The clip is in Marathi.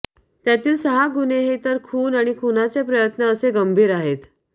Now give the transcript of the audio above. त्यातील सहा गुन्हे हे तर खून आणि खूनाचे प्रयत्न असे गंभीर आहेत